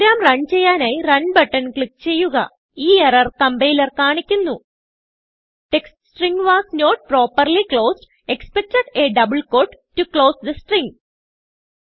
programme run ചെയ്യാനായി runബട്ടൺ click ചെയ്യുക ഈ എറർ compilerകാണിക്കുന്നു text string was not properly closed expected a double quote to close the string